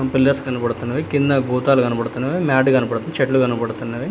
Pillars కనబడుతున్నవి కింద గోతాలు కనబడుతున్నవి మ్యాట్ కనబడుతు చెట్లు కనబడుతున్నవి.